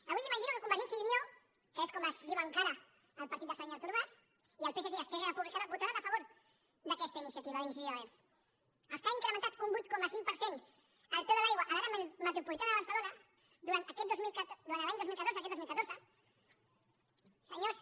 avui m’imagino que convergència i unió que és com es diu encara el partit del senyor artur mas i el psc i esquerra republicana votaran a favor d’aquesta iniciativa d’iniciativa verds els que han incrementat un vuit coma cinc per cent el preu de l’aigua a l’àrea metropolitana de barcelona durant l’any dos mil catorze aquest dos mil catorze senyors